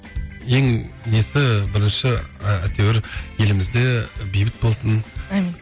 ең несі бірінші ы әйтеуір елімізде бейбіт болсын әмин